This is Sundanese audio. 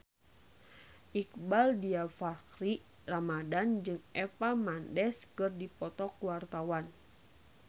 Iqbaal Dhiafakhri Ramadhan jeung Eva Mendes keur dipoto ku wartawan